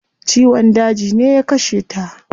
Ciwon daji ne ya kashe ta